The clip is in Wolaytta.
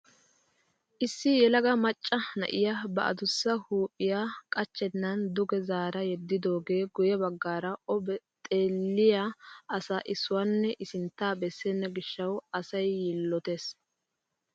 Issi yelaga macca na'iyaa ba adussa huuphphiyaa qachchenan duge zaara yeddidoogee guye baggaara o xeelliyaa asaa issuwaanne i sinttaa bessena gishshawu asay yiillottees!